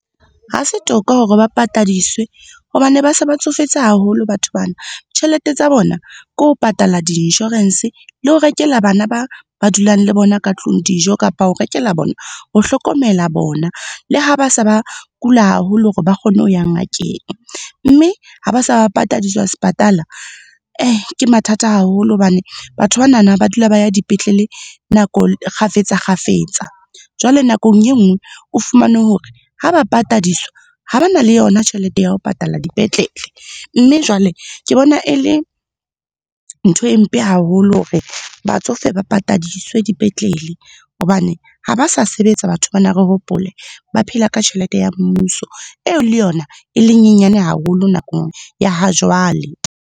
Ha se toka hore ba patadiswe hobane ba se ba tsofetse haholo batho bana. Tjhelete tsa bona, ke ho patala diinshorense le ho rekela bana ba dulang le bona ka tlung dijo kapa ho rekela bona, ho hlokomela bona, le ha ba se ba kula haholo hore ba kgone ho ya ngakeng. Mme ha ba se ba patadiswa sepatala, ke mathata haholo hobane batho bana ba dula ba ya dipetlele kgafetsa-kgafetsa. Jwale nakong enngwe, o fumane hore ha ba patadiswa, ha ba na le yona tjhelete ya ho patala dipetlele mme jwale ke bona e le, ntho e mpe haholo hore batsofe ba patadiswe dipetlele hobane ha ba sa sebetsa batho bana re hopole. Ba phela ka tjhelete ya mmuso, eo le yona e lenyenyane haholo nakong ya ha jwale.